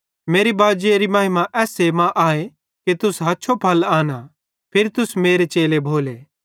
मेरे बाजेरी महिमा एसमां आए कि तुस हछो फल आनां फिरी तुस मेरे चेले भोले